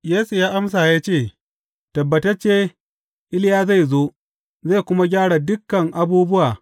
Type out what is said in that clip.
Yesu ya amsa ya ce, Tabbatacce, Iliya zai zo, zai kuma gyara dukan abubuwa.